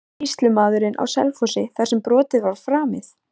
Sýslumaðurinn á Selfossi þar sem brotið var framið?